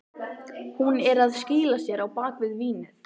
Hún er að skýla sér á bak við vínið.